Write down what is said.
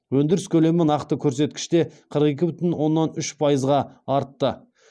өндіріс көлемі нақты көрсеткіште қырық екі бүтін оннан үш пайызға артты